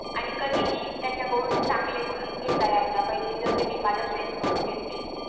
आणि कधी हि त्याच्या कडून चांगल गुण घेता यायला पाहिजे जसे मी माझ्या FRIENDS कडून घेते